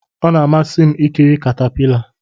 Ọ na-amasị m ikiri katapila.